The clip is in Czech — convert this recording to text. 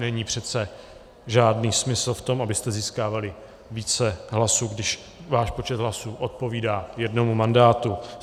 Není přece žádný smysl v tom, abyste získávali více hlasů, když váš počet hlasů odpovídá jednomu mandátu.